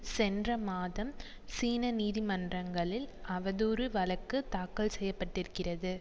சென்ற மாதம் சீன நீதி மன்றங்களில் அவதூறு வழக்கு தாக்கல் செய்ய பட்டிருக்கிறது